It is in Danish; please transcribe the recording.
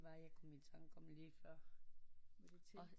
Hvad var det jeg kom i tanke om lige før